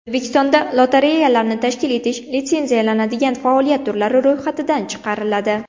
O‘zbekistonda lotereyalarni tashkil etish litsenziyalanadigan faoliyat turlari ro‘yxatidan chiqariladi.